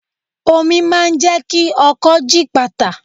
Omi máa jẹ́ kí ọkọ́ gípatà.